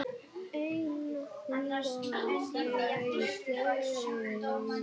Róbert: En manni sýnist þið vera að fara báðar leiðirnar?